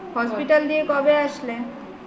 hospital দিয়ে কবে আসলে